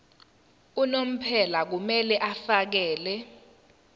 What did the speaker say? unomphela kumele afakele